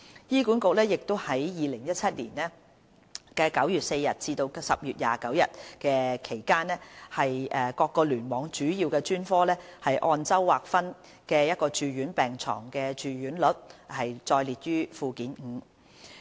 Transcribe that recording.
醫管局在2017年9月4日至10月29日期間各聯網主要專科按周劃分的住院病床住用率載列於附件五。